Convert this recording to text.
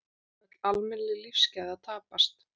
Öll almennileg lífsgæði að tapast.